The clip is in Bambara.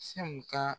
Sew ka